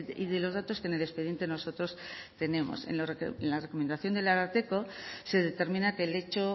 y de los datos que en el expediente nosotros tenemos en la recomendación del ararteko se determina que el hecho